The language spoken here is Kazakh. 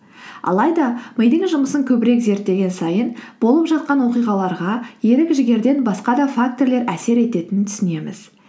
алайда мидың жұмысын көбірек зерттеген сайын болып жатқан оқиғаларға ерік жігерден басқа да фактірлер әсер ететінін түсінеміз